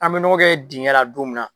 An be nɔgɔ kɛ dingɛn la don min na